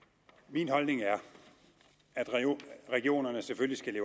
min holdning er at regionerne selvfølgelig